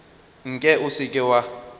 nke o se ke wa